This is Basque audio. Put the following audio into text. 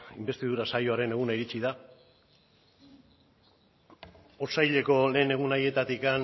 inbestidura saioaren eguna iritsi da otsaileko lehen egun haietatik